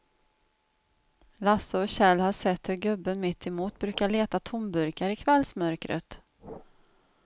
Lasse och Kjell har sett hur gubben mittemot brukar leta tomburkar i kvällsmörkret.